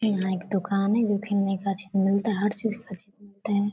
इहाँ एक दुकान है जो चीज मिलता है हर चीज मिलता है।